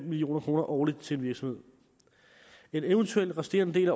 million kroner årligt til en virksomhed en eventuel resterende